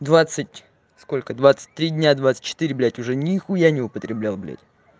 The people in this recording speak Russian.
двадцать сколько двадцать три дня двадцать четыре блядь уже нихуя не употребляю блядь